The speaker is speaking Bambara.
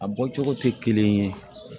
A bɔ cogo tɛ kelen ye